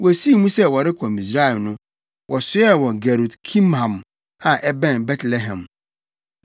Wosii mu sɛ wɔrekɔ Misraim no, wɔsoɛɛ wɔ Gerut Kimham a ɛbɛn Betlehem;